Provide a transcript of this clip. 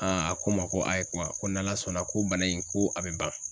a ko n ma ko a ye kuma ko n'ala sɔnna ko bana in ko a be ban.